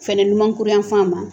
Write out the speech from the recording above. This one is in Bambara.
Fɛnɛ numankuru yanfan ma